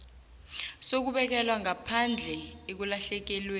sokubekelwa ngaphandle ekulahlekelweni